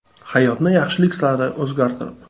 Hayotni yaxshilik sari o‘zgartirib!